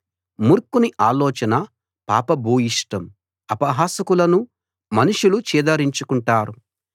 మూర్ఖుని ఆలోచన పాప భూయిష్టం అపహాసకులను మనుషులు చీదరించుకుంటారు